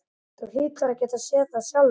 Þú hlýtur að geta séð það sjálfur.